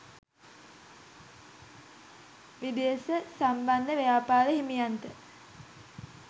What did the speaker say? විදේශ සම්බන්ධ ව්‍යාපාර හිමියන්ට